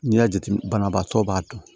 N'i y'a jateminɛ banabaatɔ b'a dɔn